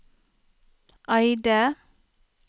Eide